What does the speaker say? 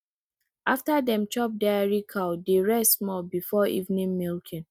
after dem chop dairy cow dey rest small before evening milking